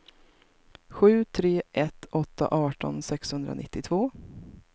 sju tre ett åtta arton sexhundranittiotvå